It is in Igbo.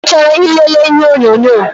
I chọrọ ị lele ihe onyonyo?